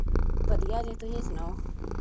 ਵੱਡੀਆਂ ਜੇ ਤੁਸੀਂ ਸੁਣਾਓ